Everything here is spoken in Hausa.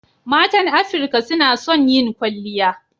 Matan Afirka suna son yin kwalliya.